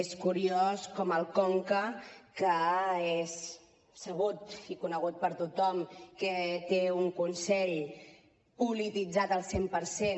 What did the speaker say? és curiós com el conca que és sabut i conegut per tothom que té un consell polititzat al cent per cent